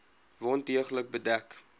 wond deeglik bedek